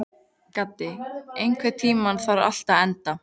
Gaddi, einhvern tímann þarf allt að taka enda.